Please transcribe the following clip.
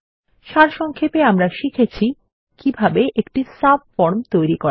সারসংক্ষেপে আমরা শিখেছি কিভাবে একটি সাবফরম তৈরী করা যায়